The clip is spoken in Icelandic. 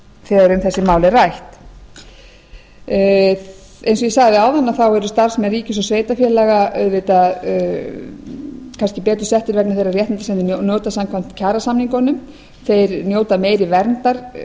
þegar um þessi mál er rætt eins og ég sagði áðan eru starfsmenn ríkis og sveitarfélaga auðvitað kannski betur settir vegna þeirra réttinda sem þeir njóta samkvæmt kjarasamningunum þeir njóta meiri verndar